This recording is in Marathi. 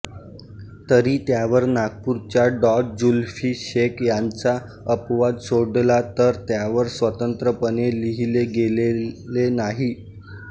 तरी त्यावर नागपूरच्या डॉ जुल्फी शेख यांचा अपवाद सोडला तर त्यावर स्वतंत्रपणे लिहिले गेलेले नाही